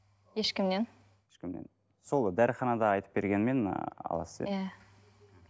ешкімнен сол дәріханада айтып бергенмен ы аласыз иә